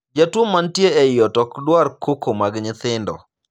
Jatuo mantie ei ot ok dwar koko mag nyithindo.